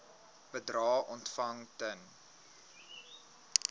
bedrae ontvang ten